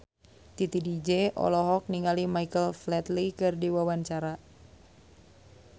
Titi DJ olohok ningali Michael Flatley keur diwawancara